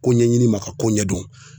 Ko ɲɛɲini ma ka ko ɲɛdɔn